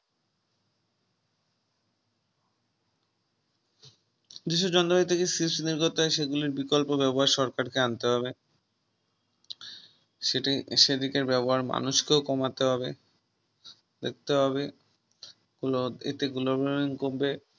যেইসব যন্ত্রপাতিতে CFC নির্গতায় সেগুলির বিকল্প ব্যবহার সরকারকে আনতে হবে সে দিন সেদিকের ব্যবহার মানুষকেও কমাতে হবে দেখতে হবে এতে Gobal warming কমবে